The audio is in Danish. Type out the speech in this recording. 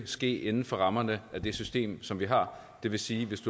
ske inden for rammerne af det system som vi har det vil sige at hvis